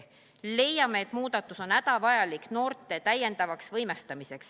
Leiame, et muudatus on hädavajalik noorte täiendavaks võimestamiseks.